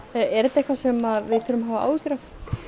er þetta eitthvað sem við þurfum að hafa áhyggjur af